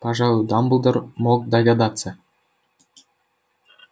пожалуй дамблдор мог догадаться